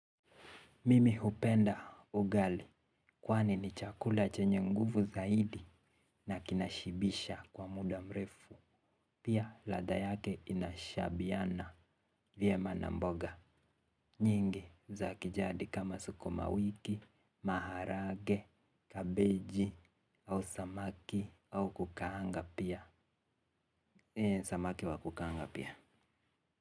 Mimi hupenda ugali kwani ni chakula chenye nguvu zaidi na kinashibisha kwa muda mrefu. Pia ladha yake inashabiana vyema na mboga nyingi za kijadi kama sukuma wiki, maharagwe, kabeji au samaki wa kukaanga pia.